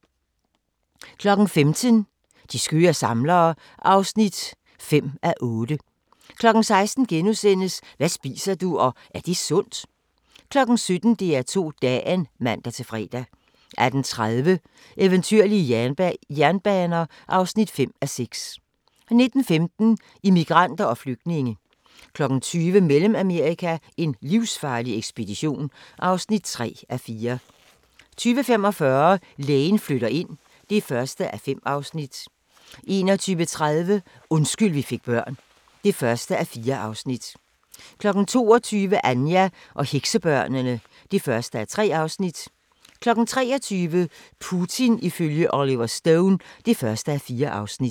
15:00: De skøre samlere (5:8) 16:00: Hvad spiser du – og er det sundt? * 17:00: DR2 Dagen (man-fre) 18:30: Eventyrlige jernbaner (5:6) 19:15: Immigranter og flygtninge 20:00: Mellemamerika: en livsfarlig ekspedition (3:4) 20:45: Lægen flytter ind (1:5) 21:30: Undskyld vi fik børn (1:4) 22:00: Anja og heksebørnene (1:3) 23:00: Putin ifølge Oliver Stone (1:4)